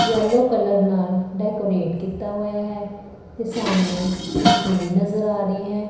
Yellow colour ਨਾਲ decorate ਕੀਤਾ ਹੋਇਆ ਹੈ ਤੇ ਸਾਹਮਣੇ ਕੁਰਸੀ ਵੀ ਨਜ਼ਰ ਆ ਰਹੀ ਹੈ।